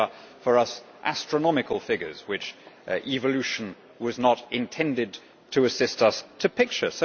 These are for us astronomical figures which evolution was not intended to assist us to picture.